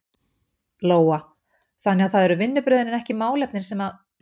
Lóa: Þannig að það eru vinnubrögðin en ekki málefnin sem að?